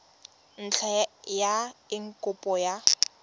ntlha ya eng kopo ya